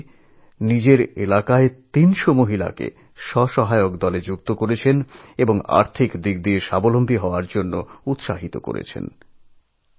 কিষাণচাচী নিজের এলাকায় ৩০০ মহিলাকে নিয়ে স্বনির্ভর গোষ্ঠী গড়ে তোলেন এবং অর্থনৈতিকভাবে তাদের স্বনির্ভরও করে তুলেছেন